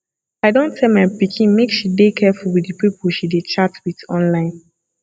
i don tell my pikin make she dey careful with the people she dey chat with online